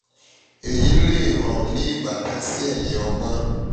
eyi le um ni ibatan si eyin ọgbọn ti o ga julọ nitori um gbigbọn rẹ